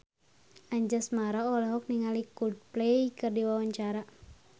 Anjasmara olohok ningali Coldplay keur diwawancara